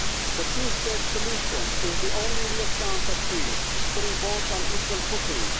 The two state solution is the only real chance for peace, putting both on an equal footing.